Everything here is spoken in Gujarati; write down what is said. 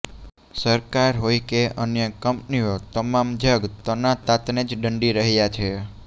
સરકાર હોય કે અન્ય કંપનીઓ તમામ જગ તના તાતને જ દંડી રહ્યા છે